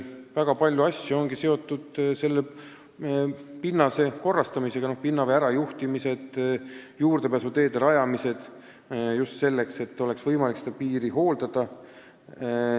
Väga palju tööd on seotud pinnase korrastamisega, näiteks pinnavee ärajuhtimine ja juurdepääsuteede rajamine selleks, et oleks võimalik piiriala hooldada.